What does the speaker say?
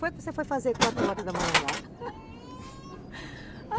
Foi que você foi fazer quatro horas da manhã lá